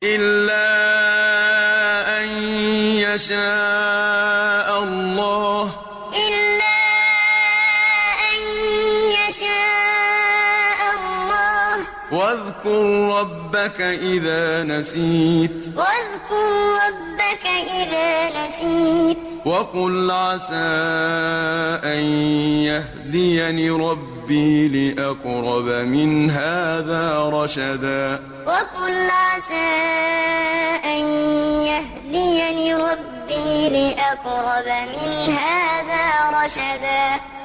إِلَّا أَن يَشَاءَ اللَّهُ ۚ وَاذْكُر رَّبَّكَ إِذَا نَسِيتَ وَقُلْ عَسَىٰ أَن يَهْدِيَنِ رَبِّي لِأَقْرَبَ مِنْ هَٰذَا رَشَدًا إِلَّا أَن يَشَاءَ اللَّهُ ۚ وَاذْكُر رَّبَّكَ إِذَا نَسِيتَ وَقُلْ عَسَىٰ أَن يَهْدِيَنِ رَبِّي لِأَقْرَبَ مِنْ هَٰذَا رَشَدًا